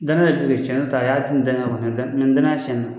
Danaya juru de tiɲɛna, nɔtɛ a y'a si nwa aya kɔnɔ , ndanaya tiɲɛnna.